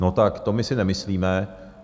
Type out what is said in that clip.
No tak to my si nemyslíme.